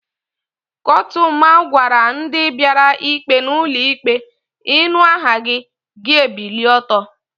Kotuma gwara ndi biara ikpe n'ulo ikpe, "inu aha gi, gi ebilie oto"